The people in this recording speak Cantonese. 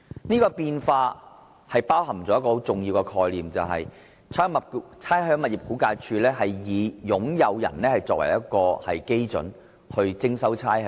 這變化包含一個很重要的概念，就是估價署以使用人而非以業主作為單位徵收差餉。